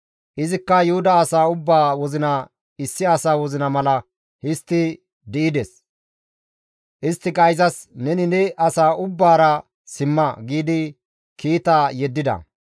Izikka Yuhuda asaa ubbaa wozina issi asa wozina mala histti di7ides; isttika izas, «Neni ne asaa ubbaara simma» giidi kiita yeddida.